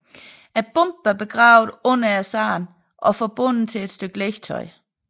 Bomben var begravet under sandet og forbundet til et stykke legetøj